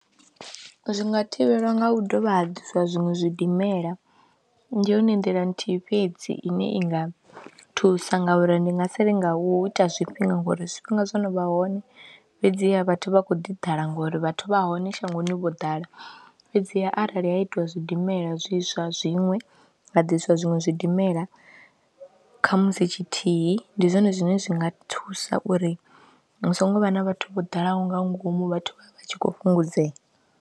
Zwi nga thivhelwa nga u dovha ha ḓiswa zwiṅwe zwidimela ndi yone nḓila nthihi fhedzi ine i nga thusa ngauri ndi nga si ri nga u ita zwifhinga ngori zwifhinga zwo no vha hone fhedziha vhathu vha khou ḓi ḓala ngori vhathu vha hone shangoni vho ḓala fhedziha arali ha itiwa zwidimela zwiswa zwiṅwe nga ḓiswa zwiṅwe zwidimela kha musi tshithihi ndi zwone zwine zwi nga thusa uri hu songo vha na vhathu vho ḓalaho nga ngomu vhathu vha tshi khou fhungudzea.